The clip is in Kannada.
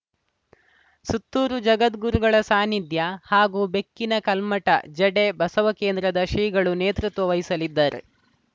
ಸುತ್ತೂರು ಜಗದ್ಗುರುಗಳ ಸಾನ್ನಿಧ್ಯ ಹಾಗೂ ಬೆಕ್ಕಿನಕಲ್ಮಠ ಜಡೆ ಬಸವಕೇಂದ್ರದ ಶ್ರೀಗಳು ನೇತೃತ್ವ ವಹಿಸಲಿದ್ದಾರೆ